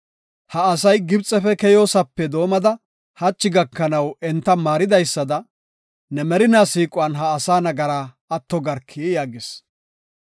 Ha asay Gibxefe keyoosope doomada hachi gakanaw enta maaridaysada ne merinaa siiquwan ha asaa nagaraa atto garki” yaagis.